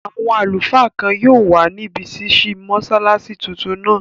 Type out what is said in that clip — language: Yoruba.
Àwọn àlùfáà kan yóò wà níbi ṣísí mọ́sálásí tuntun náà